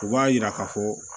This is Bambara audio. U b'a yira ka fɔ